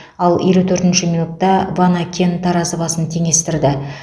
ал елу төртінші минутта ванакен таразы басын теңестірді